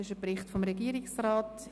Es ist ein Bericht des Regierungsrats.